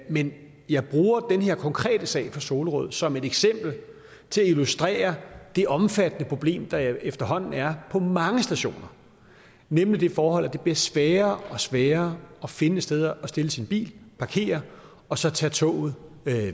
men jeg bruger den her konkrete sag fra solrød som et eksempel til at illustrere det omfattende problem der efterhånden er på mange stationer nemlig det forhold at det bliver sværere og sværere at finde et sted at stille sin bil parkere og så tage toget